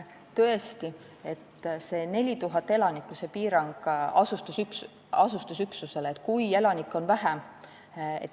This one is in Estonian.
Tõesti, see 4000 elaniku piirang asustusüksusele.